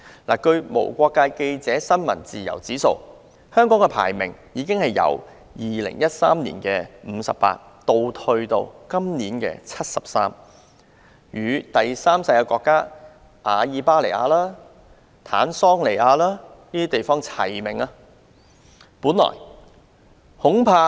根據無國界記者公布最新的世界新聞自由指數，香港的排名由2013年的第五十八位，下跌至今年的第七十三位，與阿爾巴尼亞、坦桑尼亞等第三世界國家看齊。